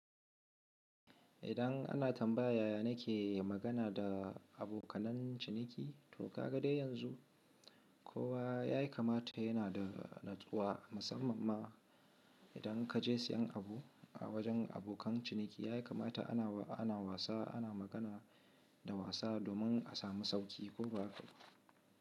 Idan ana tambaya yaya nake magana da abokanan ciniki, to ka ga dai yanzu. Kowa yayi kamata yana da natsuwa musamman ma idan kaje siyan abu a wajen abokan ciniki ya kamata ana wasa ana magana da wasa domin a samu sauki ko ba.